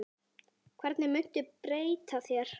Hvernig muntu beita þér?